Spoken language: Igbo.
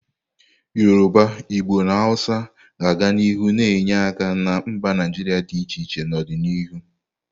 Yoruba, Igbo na Hausa ga-aga n'ihu na-enye aka na mba Naijiria dị iche iche n'ọdịnihu.